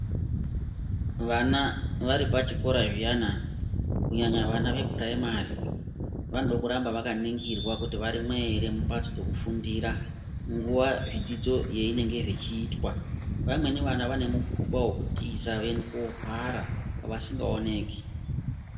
Vana varipachikora zviyana kunyanya vechikora chepashi vanode kuramba vakaningirwa kuti varimwo ere mumbatso dzekufundira nguwa zvidzidzo yeinenge zvichiitwa vamweni vana vane mukuba wekutiza voende kohwara vasingaoneki.